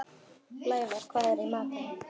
Blævar, hvað er í matinn?